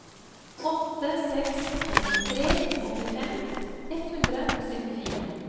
åtte seks fem tre åttifem ett hundre og syttifire